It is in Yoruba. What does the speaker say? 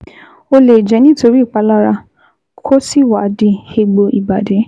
Ó lè jẹ́ nítorí ìpalára, kó sì wá di egbò ìbàdí